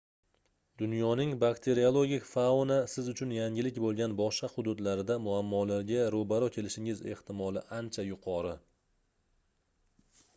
dunyoning bakteriologik fauna siz uchun yangilik boʻlgan boshqa hududlarida muammolarga roʻbaroʻ kelishingiz ehtimoli ancha yuqori